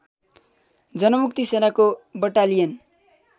जनमुक्ति सेनाको बटालियन